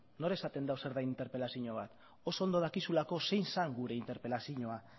nor esaten du zer den interpelazioa bat oso ondo dakizulako zein zen gure interpelazioa